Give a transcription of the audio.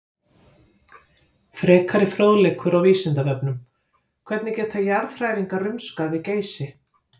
Frekari fróðleikur á Vísindavefnum: Hvernig geta jarðhræringar rumskað við Geysi?